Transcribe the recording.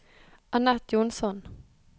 Anett Jonsson